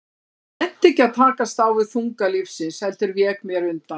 Ég nennti ekki að takast á við þunga lífsins, heldur vék mér undan.